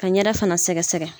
Ka n ɲɛda fana sɛgɛsɛgɛ.